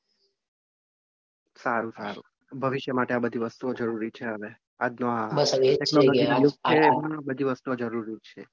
સારું સારું ભવિષ્ય માટે આ બધી વસ્તુઓ જરૂરી છે હવે. આજનો હવે આ બધી વસ્તુઓ જરૂરી છે.